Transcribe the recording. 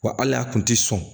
Wa hali a kun tɛ sɔn